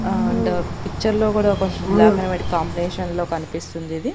And picture లో కూడా కొంచం బ్లాక్ ఆండ్ వైట్ కాంబినేషన్ లో కనిపిస్తుంది ఇది.